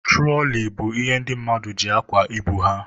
Turoli bụ ihe ndị mmadụ ji akwa ibu ha.